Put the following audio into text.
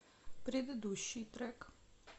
предыдущий трек